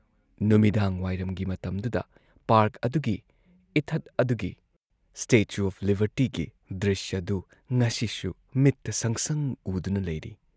ꯅꯨꯃꯤꯗꯥꯡꯋꯥꯏꯔꯝꯒꯤ ꯃꯇꯝꯗꯨꯗ ꯄꯥꯔꯛ ꯑꯗꯨꯒꯤ, ꯏꯊꯠ ꯑꯗꯨꯒꯤ, ꯁ꯭ꯇꯦꯆꯨ ꯑꯣꯐ ꯂꯤꯕꯔꯇꯤꯒꯤ ꯗ꯭ꯔꯤꯁ꯭ꯌꯗꯨ ꯉꯁꯤꯁꯨ ꯃꯤꯠꯇ ꯁꯪꯁꯪ ꯎꯗꯨꯅ ꯂꯩꯔꯤ ꯫